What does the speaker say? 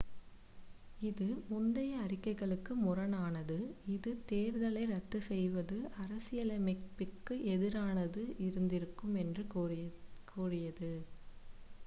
இது முந்தைய அறிக்கைகளுக்கு முரணானது இது தேர்தலை ரத்து செய்வது அரசியலமைப்பிற்கு எதிரானதாக இருந்திருக்கும் என்று கூறியது